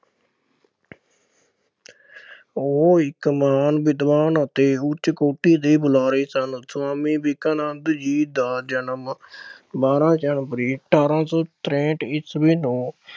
ਉਹ ਇੱਕ ਮਹਾਨ ਵਿਦਵਾਨ ਅਤੇ ਉੱਚ ਕੋਟੀ ਦੇ ਬੁਲਾਰੇ ਸਨ। ਸੁਆਮੀ ਵਿਵੇਕਾਨੰਦ ਜੀ ਦਾ ਜਨਮ ਬਾਰਾਂ January ਅਠਾਰਾਂ ਸੌ ਤਰੇਹਠ ਈਸਵੀ ਨੂੰ